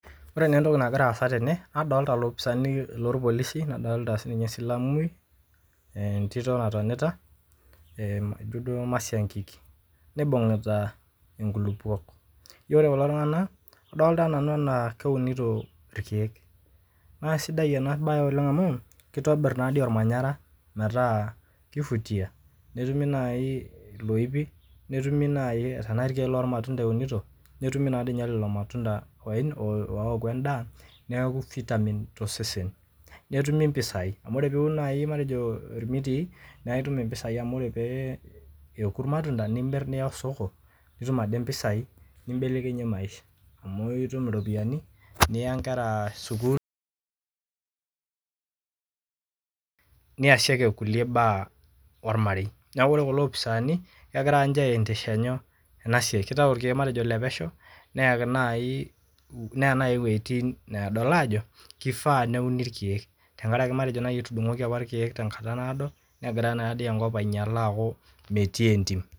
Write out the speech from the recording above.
Wore naa entoki nakira aasa tene, nadoolta ilopisani loorpolisi, nadoolta sininye esilamui, entito natonita ehm ijo duo masiankiki. Nibungita inkulupop, wore kulo tunganak, adoolta nanu enaa keunito irkiek. Naa sidai ena baye oleng' amu, kitobirr naadi olmanyara metaa ki vutia netumi naai iloipi, netumi naai tenaa irkiek loormatunda eunito, netumi naadinye lelo matunda oaku endaah, neeku vitamin tosesen. Netumi impisai, amu wore pee iun naai matejo irmitii, naa itum impisai amu wore pee eeku irmatunda nimirr nia osoko, nitum ade impisai nimbelekenyie maisha, amu itum iropiyiani, niya inkera sukuul. [Paused] niasiake inkulie baa olmarei. Neeku wore kulo opisani, kekira ninche aendesha inyoo, ena siai, kitayu irkiek matejo ilepesho, neeki naai, neya nai iwejitin needol aajo, kifaa neuni irkiek. Tenkaraki matejo naaji etudungoki apa irkiek tenkata naado nekira naadi enkop ainyiala aaku metii entim.